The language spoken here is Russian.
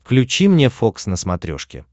включи мне фокс на смотрешке